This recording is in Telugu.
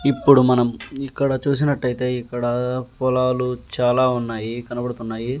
ఇప్పుడు మనం ఇక్కడ చూసినట్టయితే ఇక్కడా పొలాలు చాలా ఉన్నాయి కనబడుతున్నాయి.